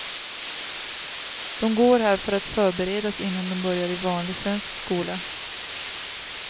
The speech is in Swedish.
De går här för att förberedas innan de börjar i vanlig svensk skola.